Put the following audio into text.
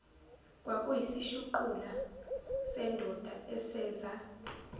kwakuyisishuqula sendoda eseza